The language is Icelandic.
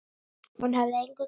Hún hafði engu gleymt.